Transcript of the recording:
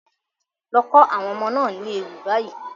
Lọ kọ́ àwọn ọmọ náà ní ewì báyìí.